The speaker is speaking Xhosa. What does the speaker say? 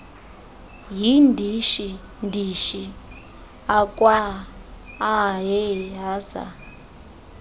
yindishi ndishi akwaaehaza